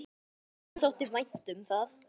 Honum þótti vænt um það.